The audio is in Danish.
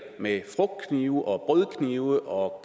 med frugtknive og brødknive og